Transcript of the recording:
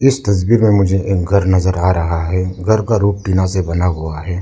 इस तस्वीर में मुझे एक घर नजर आ रहा है घर का रूफ टीना से बना हुआ है।